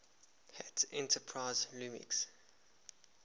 hat enterprise linux